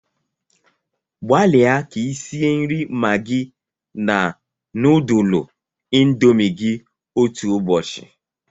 Gbalịa ka i sie nri Maggi na nudulu indomi gị otu ụbọchị